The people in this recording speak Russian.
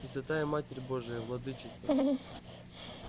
пресвятая матерь божия владычица